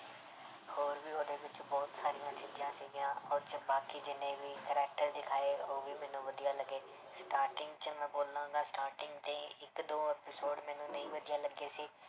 ਹੋਰ ਵੀ ਉਹਦੇ ਵਿੱਚ ਬਹੁਤ ਸਾਰੀਆਂ ਚੀਜ਼ਾਂ ਸੀਗੀਆਂ ਉਹ 'ਚ ਬਾਕੀ ਜਿੰਨੇ ਵੀ character ਦਿਖਾਏ ਉਹ ਵੀ ਮੈਨੂੰ ਵਧੀਆ ਲੱਗੇ starting 'ਚ ਮੈਂ ਬੋਲਾਂਗਾ starting ਤੇ ਇੱਕ ਦੋ episode ਮੈਨੂੰ ਨਹੀਂ ਵਧੀਆ ਲੱਗੇ ਸੀ,